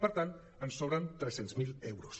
per tant sobren tres·cents mil euros